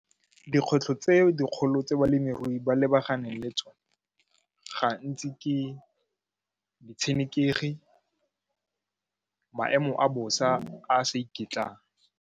Dikgwetlho tse dikgolo tse balemirui ba lebaganeng le tsone gantsi ke ditshenekegi, maemo a bosa a sa iketlang.